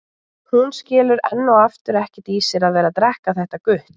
Hún skilur enn og aftur ekkert í sér að vera að drekka þetta gutl.